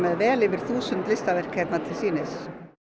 vel yfir þúsund listaverk hérna til sýnis